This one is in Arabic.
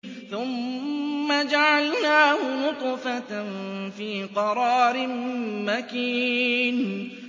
ثُمَّ جَعَلْنَاهُ نُطْفَةً فِي قَرَارٍ مَّكِينٍ